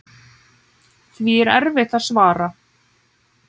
Því er erfitt að svara.